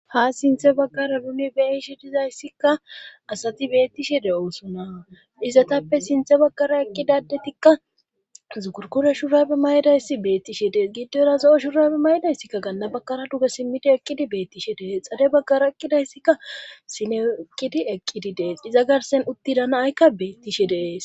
ha sinthe baggara uni be'ishe dizayssikka asati beettishe de7osuna izatappe sinthe baggara eqqidadetikka zugurkure shurabe maydayssi beettishe dees giddora za7o shurabe maydayssikka ganna baggara duge simmidi eqqidi beettishe dees xade baggara eqqidayssikka sineeqqidi eqqidi dees iza garsen uttidana'aykka beettishe dees